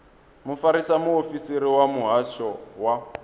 mufarisa muofisiri wa muhasho wa